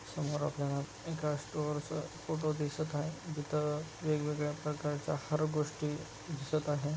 समोर आपल्याला एका स्टोअर च फोटो दिसत आहे जिथं वेगवेगळ्या प्रकारच्या हर गोष्टी दिसत आहे.